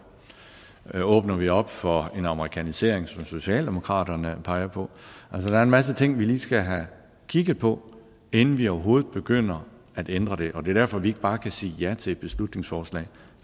åbner vi op for en amerikanerisering som socialdemokratiet peger på der er en masse ting vi lige skal have kigget på inden vi overhovedet begynder at ændre det og det er derfor vi ikke bare kan sige ja til et beslutningsforslag